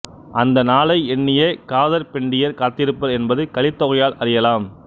அந்த நாளை எண்ணியே காதற்பெண்டிர் காத்திருப்பர் என்பது கலித்தொகையால் அறியலாம்